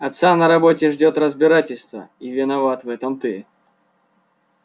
отца на работе ждёт разбирательство и виноват в этом ты